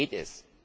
Worum geht es?